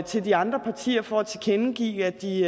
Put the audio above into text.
til de andre partier for at tilkendegive at de